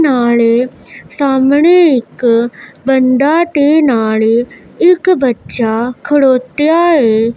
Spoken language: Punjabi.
ਨਾਲ ਸਾਹਮਣੇ ਇੱਕ ਬੰਦਾ ਤੇ ਨਾਲੇ ਇੱਕ ਬੱਚਾ ਖੜੋਤਿਆ ਏ।